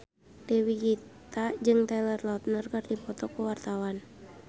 Dewi Gita jeung Taylor Lautner keur dipoto ku wartawan